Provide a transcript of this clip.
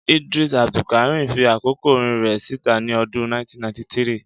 Idrees Abdulkareem fi àkọ́kọ́ orin rẹ̀ síta ní ọdún 1993